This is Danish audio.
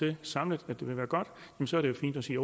det samlet vil være godt så er det fint at sige